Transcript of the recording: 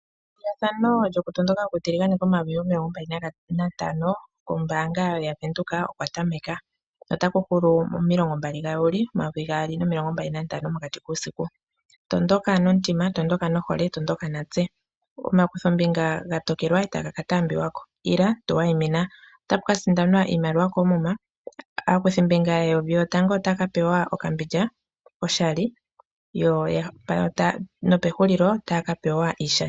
Eithano lyokutondoka okutiligane komayuvi omilongo mbali natano kombaanga yaVenduka okwatameka, na ota ku hulu momilongo mbali dha Juli momayovi gaali nomilongo mbali nantano mokati kuusiku. Tondoka nomutima, tondoka nohole, tondoka natse. Omakutho mbinga gatokelwa itaga ka taambiwako, ila, tuwa yi mina, owataambiwako. Ota ku kasindanwa iimaliwa koomuna, aakuthi mbinga yeyovi yotango ota ya kapewa okambindja oshali, nopehulilo otaya kapewa iishani.